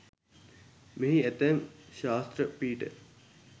මෙහි ඇතැම් ශාස්ත්‍ර පීඨ